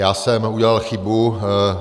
Já jsem udělal chybu.